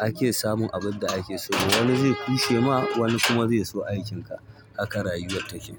ake samun abin da ake so ba. Wani zai kushe ma, wani kuma zai so aikin ka. Haka rayuwar take.